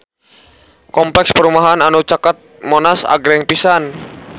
Kompleks perumahan anu caket Monas agreng pisan